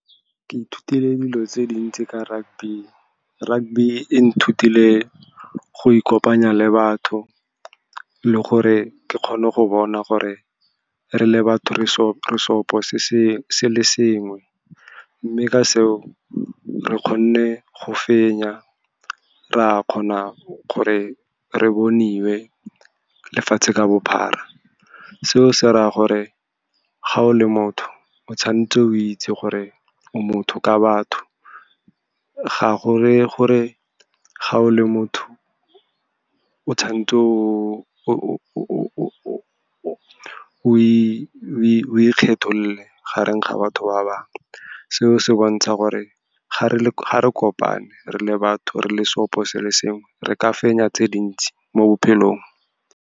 Ke ithutile dilo tse dintsi ka rugby, rugby e nthutile go ikopanya le batho, le gore ke kgone go bona gore re le batho re seopo se le sengwe. Mme ka seo re kgone go fenya, ra kgona gore re boniwe lefatshe ka bophara. Seo se raya gore, ga o le motho, o tshwanetse o itse gore o motho ka batho. Ga go reye gore ga o le motho o tshwanetse o ikgetholole gareng ga batho ba bangwe. Seo se bontsha gore ga re kopane re le batho, re le seopo se le sengwe, re ka fenya tse dintsi mo bophelong.